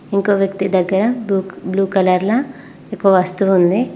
ఇంకోవ్యక్తి దగ్గర బ్లూ కలర్ల ఒక వస్తువు ఉంది.